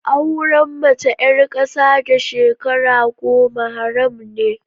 Auren mace ƴar ƙasa da shekara goma haram ne